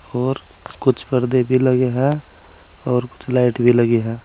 और कुछ पर्दे भी लगे हैं और कुछ लाइट भी लगी है।